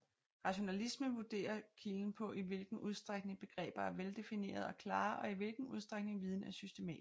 Rationalisme vurderer kilder på i hvilken udstrækning begreber er veldefinerede og klare og i hvilken udstrækning viden er systematisk